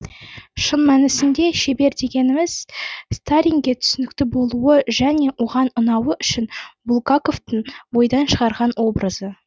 шын мәнісінде шебер дегеніміз сталинге түсінікті болуы және оған ұнауы үшін булгаковтың ойдан шығарған образы